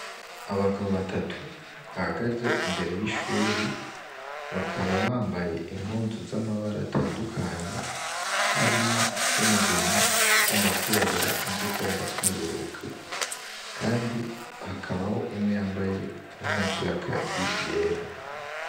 Abagabo batatu bahagaze imbere y'ishure Bakaba bambaye impuzu zamabara atandukanye Harimwo iz 'umugena, izirabura, izigomba kweruruka kandi hakaba harimwo nuwundi yambaye impuzu y' aakazi yera.